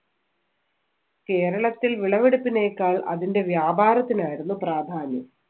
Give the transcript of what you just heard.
കേരളത്തിൽ വിളവെടുപ്പിനേക്കാൾ അതിന്‍റെ വ്യാപാരത്തിനായിരുന്നു പ്രാധാന്യം.